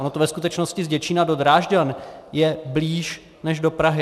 Ono to ve skutečnosti z Děčína do Drážďan je blíž než do Prahy.